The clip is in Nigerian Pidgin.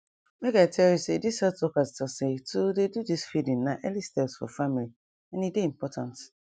make i tell you say this health workers talk seh to dey do this feeding na early steps for families and e dey important